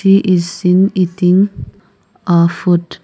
she is seen eating a food.